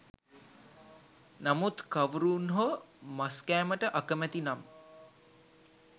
නමුත් කවුරුන් හෝ මස් කෑමට අකමැති නම්